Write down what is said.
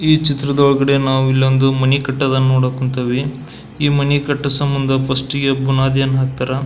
ಈ ಚಿತ್ರದೊಳಗಡೆ ನಾವು ಇಲ್ಲಿ ಒಂದು ಮನೆ ಕಟ್ಟೋದನ್ನ ನೋಡೋಕ್ ಹೊಂತಿವಿ ಈ ಮನೆ ಕಟ್ಟೋ ಸಂಬಂಧ ಫಿರ್ಸ್ಟ್ಗೆ ಬುನಾದಿಯನ್ನ ಹಾಕ್ತಾರಾ.